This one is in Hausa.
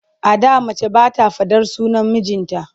A da mace ba ta faɗar sunan mijinta.